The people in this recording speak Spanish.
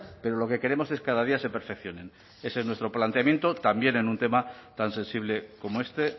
pero lo que queremos es cada día se perfeccionen ese es nuestro planteamiento también en un tema tan sensible como este